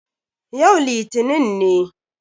Yau litinin ne.